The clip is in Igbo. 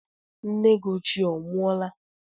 Nne gị ochie onwụọla?